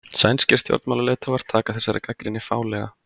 Sænskir stjórnmálaleiðtogar taka þessari gagnrýni fálega